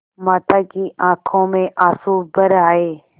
माता की आँखों में आँसू भर आये